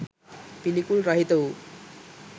පිළිකුල් රහිත වූ